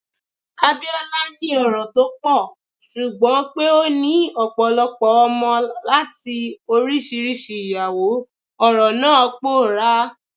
Abiola ni ọrọ̀ tó pọ̀, ṣùgbọ́n pé ó ní ọ̀pọ̀lọpọ̀ ọmọ láti oríṣiríṣi ìyàwó, ọrọ̀ náà pòórá.